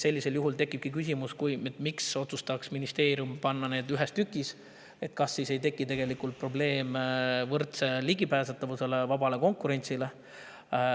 Sellisel juhul tekib küsimus, miks ministeerium otsustama panna need ühes tükis ning kas siis ei teki probleeme võrdse ligipääsetavuse ja vaba konkurentsiga.